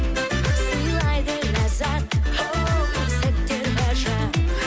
сыйлайды ләззат оу сәттер ғажап